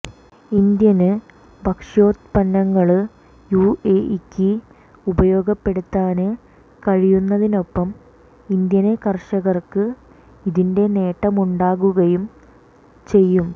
Indian ഭക്ഷ്യോത്പന്നങ്ങള് യുഎഇക്ക് ഉപയോഗപ്പെടുത്താന് കഴിയുന്നതിനൊപ്പം ഇന്ത്യന് കര്ഷകര്ക്ക് ഇതിന്റെ നേട്ടമുണ്ടാകുകയും ചെയ്യും